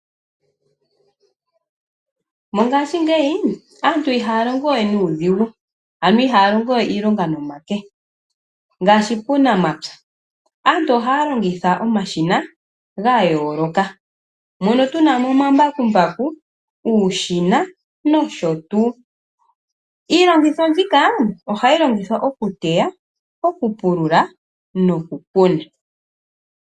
Mongashingeyi, aantu ihaa longo we nuudhigu. Ano ihaa longo we iilonga nomake. Ngaashi puunamapya. Aantu ohaa longitha omashina, gayooloka. Mono tu na mo omambakumbaku, uushina, nosho tuu. Iilongitho mbika, ohayi longithwa okuteya, okupulula, nokukuna.